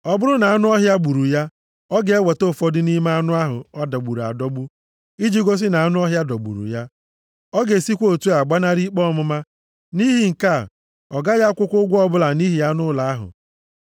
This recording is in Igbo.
Ọ bụrụ na anụ ọhịa gburu ya, ọ ga-eweta ụfọdụ nʼime anụ ahụ a dọgburu adọgbu, iji gosi na anụ ọhịa dọgburu ya. + 22:13 \+xt Jen 31:39\+xt* Ọ ga-esikwa otu a gbanarị ikpe ọmụma. Nʼihi nke a, ọ gaghị akwụkwa ụgwọ ọbụla nʼihi anụ ụlọ ahụ.